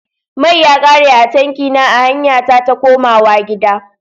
Mai ya ƙare a tanki na a hanya ta takomawa gida.